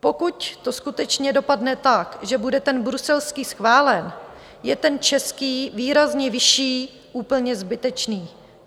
Pokud to skutečně dopadne tak, že bude ten bruselský schválen, je ten český, výrazně vyšší, úplně zbytečný.